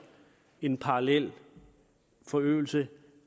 en parallel forøgelse